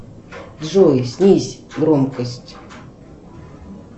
джой снизь громкость